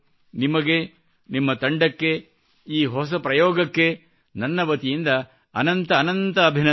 ನಿಮಗೆ ನಿಮ್ಮ ತಂಡಕ್ಕೆ ಈ ಹೊಸ ಪ್ರಯೋಗಕ್ಕೆ ನನ್ನ ವತಿಯಿಂದ ಅನಂತ ಅನಂತ ಅಭಿನಂದನೆಗಳು